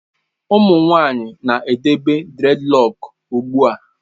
Ụmụ nwanyị na-edebe dreadlock ugbu a.